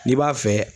N'i b'a fɛ